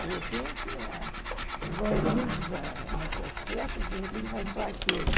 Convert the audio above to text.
De repente, ãh vão muitos nas suas festas, de repente, vai só aquele.